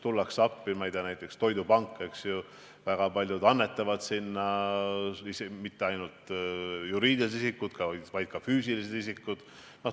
Näiteks Eesti Toidupank – väga paljud annetavad sinna, ja mitte ainult juriidilised isikud, vaid ka füüsilised isikud.